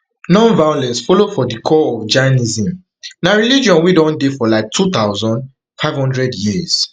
non violence follow for di core of jainism na religion wey don dey for like two thousand, five hundred years